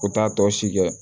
U t'a tɔ si kɛ